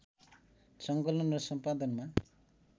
सङ्कलन र सम्पादनमा